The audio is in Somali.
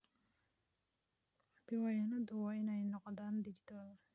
Diiwaanadayadu waa inay noqdaan dijital.